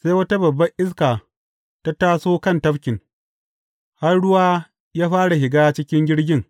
Sai wata babban iska ta taso kan tafkin, har ruwa ya fara shiga cikin jirgin.